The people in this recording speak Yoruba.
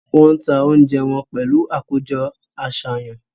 Wọ́n ń ta oúnjẹ wọn pẹ̀lú àkójọ-àṣàyàn.